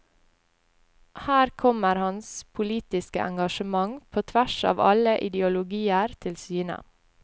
Her kommer hans politiske engasjement på tvers av alle ideologier til syne.